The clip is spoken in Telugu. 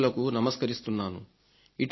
వీరులకు నమస్కరిస్తున్నాను